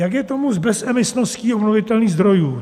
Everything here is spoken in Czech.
Jak je tomu s bezemisností obnovitelných zdrojů.